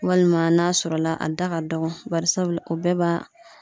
Walima n'a sɔrɔla a da ka dɔgɔn barisabu la bɛɛ b'a